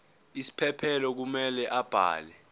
isiphephelo kumele abhale